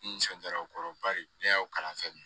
N nisɔndiyara o kɔrɔ bari ne y'aw kalan fɛn min